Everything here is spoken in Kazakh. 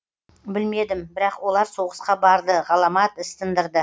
білмедім бірақ олар соғысқа барды ғаламат іс тындырды